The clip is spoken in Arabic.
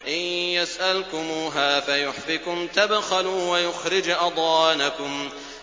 إِن يَسْأَلْكُمُوهَا فَيُحْفِكُمْ تَبْخَلُوا وَيُخْرِجْ أَضْغَانَكُمْ